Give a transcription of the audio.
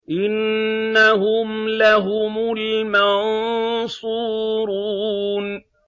إِنَّهُمْ لَهُمُ الْمَنصُورُونَ